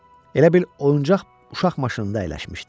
Elə bil oyuncaq uşaq maşınında əyləşmişdi.